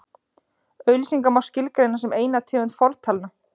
auglýsingar má skilgreina sem eina tegund fortalna